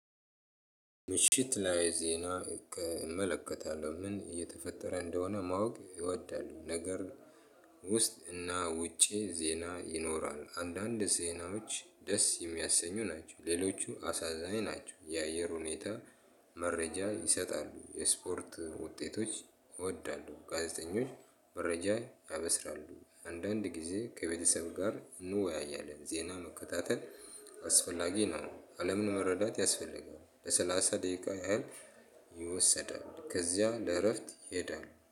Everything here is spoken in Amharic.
ምሽት ላይ ዜና እመለከታለሁ ምን እየተፈጠረ እንደሆነ ማወቅ እወዳለሁ። ነገር ውስጥና ውጪ ዜና ይኖራል አንዳንድ ዜናዎች ደስ የሚያሰኙ ናቸው። ሌሎቹ አሳዛኝ ናቸው። የአየር ሁኔታ መረጃ ይሰጣሉ። የስፖርት ውጤቶች እወዳለሁ። ጋዜጠኞች መረጃ ያበስራሉ አንዳንድ ጊዜ ከቤተሰብ ጋር እንወያያለን። ዜና መከታተል አስፈላጊ ነው። አለምን መረዳት ያስፈልጋል። ለ ሰላሳ ደቂቃ ያህል ይወሰዳል። ከዚያ ለእረፍት ይሄዳል